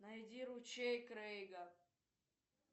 найди ручей крейга